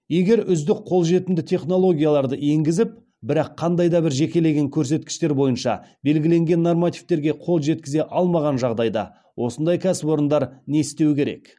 егер үздік қолжетімді технологияларды енгізіп бірақ қандай да бір жекелеген көрсеткіштер бойынша белгіленген нормативтерге қол жеткізе алмаған жағдайда осындай кәсіпорындар не істеу керек